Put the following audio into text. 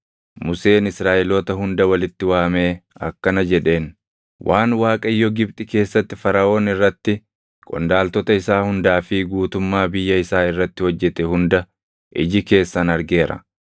Museen Israaʼeloota hunda walitti waamee akkana jedheen: Waan Waaqayyo Gibxi keessatti Faraʼoon irratti, qondaaltota isaa hundaa fi guutummaa biyya isaa irratti hojjete hunda iji keessan argeera.